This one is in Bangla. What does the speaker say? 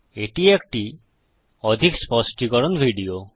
এটি একটি অধিক স্পষ্টীকরণ ভিডিও